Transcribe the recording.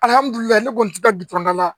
Alihamudulila ne kɔni ti taa bitɔn dala